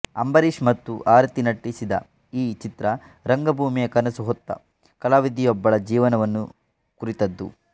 ಅಂಬರೀಶ್ ಮತ್ತು ಆರತಿ ನಟಿಸಿದ ಈ ಚಿತ್ರ ರಂಗಭೂಮಿಯ ಕನಸು ಹೊತ್ತ ಕಲಾವಿದೆಯೊಬ್ಬಳ ಜೀವನವನ್ನು ಕುರಿತದ್ದು